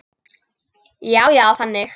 Já, já, þannig.